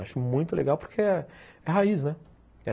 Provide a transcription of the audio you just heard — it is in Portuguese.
Acho muito legal porque é raiz, né?